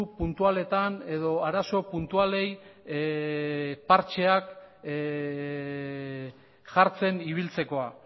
puntualetan edo arazo puntualei partxeak jartzen ibiltzekoa